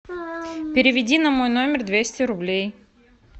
переведи на мой номер двести рублей